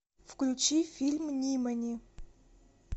включи фильм нимани